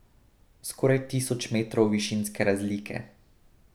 Skoraj tisoč metrov višinske razlike.